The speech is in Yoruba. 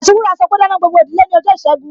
Anti wúrà sọpe, Dáná gbogbo ìdílé ní ọjọ́ ìṣẹ́gun!